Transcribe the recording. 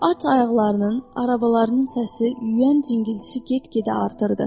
At ayaqlarının, arabalarının səsi, yüyən cingiltisi get-gedə artırdı.